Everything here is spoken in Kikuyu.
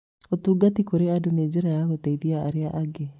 Ũtungata kũrĩ andũ nĩ njĩra ya gũteithia arĩa angĩ.